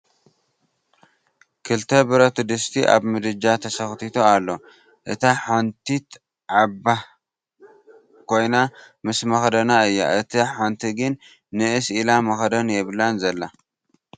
ክልተ ብረት ድስቲ ኣብ ምድጃ ተሰኽቲቱ ኣሎ እታ ሓንቲት ዓባህ ኮይና ምስ መኽደና እያ እታ ሓንቲ ግን ንኢስ ኢላ መኽደን የብላን ዘላ ።